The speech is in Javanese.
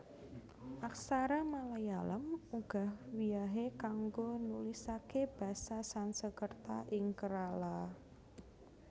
Aksara Malayalam uga wiyahé kanggo nulisaké basa Sansekerta ing Kerala